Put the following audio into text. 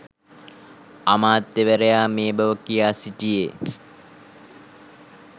අමාත්‍යවරයා මේ බව කියා සිටියේ